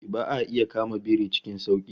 Ba'a iya kama biri cikin sauki